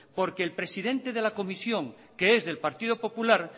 porque el presidenta de la comisión que es del partido popular